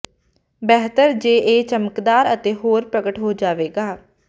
ਬਿਹਤਰ ਜੇ ਇਹ ਚਮਕਦਾਰ ਅਤੇ ਹੋਰ ਪ੍ਰਗਟ ਹੋ ਜਾਵੇਗਾ